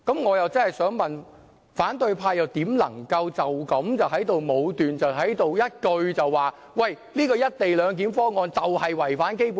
我真的想問，反對派怎能夠如此武斷，不停的說"一地兩檢"的方案是違反《基本法》？